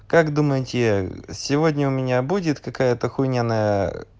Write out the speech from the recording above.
как думаете я сегодня у меня будет какая-то хунина на